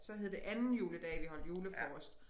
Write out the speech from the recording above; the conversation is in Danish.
Så hed det anden juledag vi holdt julefrokost